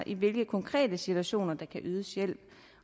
i hvilke konkrete situationer der kan ydes hjælp